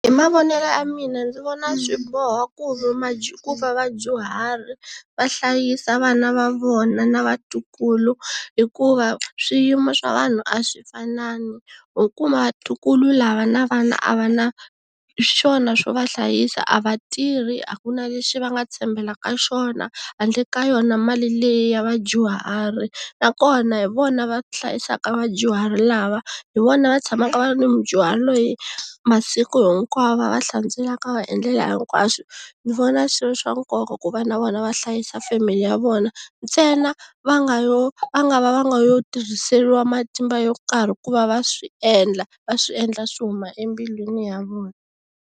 Hi mavonele ya mina ndzi vona swi boha ku i ku va vadyuhari va hlayisa vana va vona na vatukulu hikuva swiyimo swa vanhu a swi fanani, ho kuma vatukulu lava na vana a va na swona swo va hlayisa a va tirhi, a ku na leswi va nga tshembela ka swona handle ka yona mali leyi ya vadyuhari, nakona hi vona va hlayisaka vadyuhari lava, hi vona va tshamaka va ri na mudyuhari loyi masiku hinkwawo va va hlantswelaka va va endlela hinkwaswo ni vona swi ri swa nkoka ku va na vona va hlayisa family ya vona ntsena va nga yo a nga va va nga yo tirhiseriwa matimba yo karhi ku va va swi endla va swi endla swi huma embilwini ya vona.